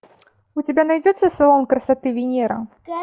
у тебя найдется салон красоты венера